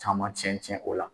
Caman tiɲɛ tiɲɛ o la